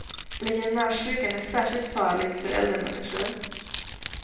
Legionärssjukan är särskilt farlig för äldre människor.